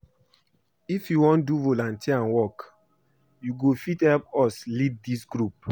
If you wan do volunteer work you go fit help us lead dis group